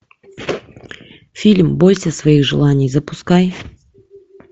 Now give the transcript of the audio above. фильм бойся своих желаний запускай